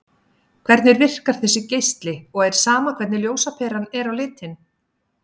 Hvernig virkar þessi geisli og er sama hvernig ljósaperan er á litinn?